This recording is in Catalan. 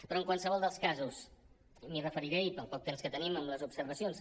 però en qualsevol dels casos m’hi referiré i pel poc temps que tenim en les observacions